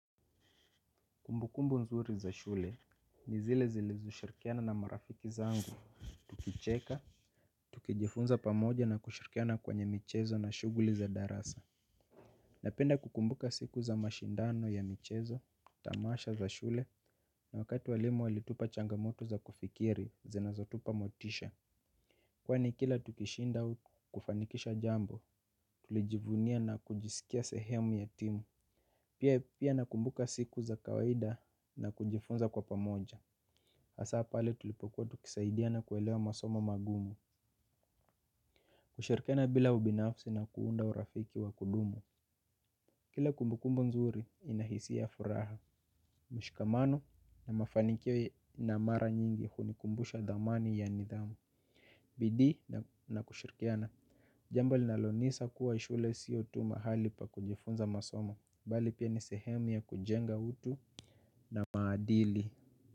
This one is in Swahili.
Kumbukumbu nzuri za shule, ni zile zilizoshirikiana na marafiki zangu, tukicheka tukijifunza pamoja na kushirikiana kwenye michezo na shughuli za darasa. Napenda kukumbuka siku za mashindano ya michezo, tamasha za shule, na wakati walimu walitupa changamoto za kufikiri, zinazotupa motisha. Kwani kila tukishinda kufanikisha jambo, tulijivunia na kujisikia sehemu ya timu. Pia pia nakumbuka siku za kawaida na kujifunza kwa pamoja hasa pale tulipokuwa tukisaidiana kuelewa masomo magumu hushirikiana bila ubinafsi na kuunda urafiki wa kudumu. Kila kumbukumbu nzuri ina hisia furaha. Mshikamano na mafanikio na mara nyingi hunikumbusha thamani ya nidhamu. Bidii na kushirikiana jambo linalonisa kuwa hii shule sio tu mahali pa kujifunza masoma. Bali pia ni sehemu ya kujenga utu na maadili.